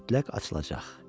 Mütləq açılacaq.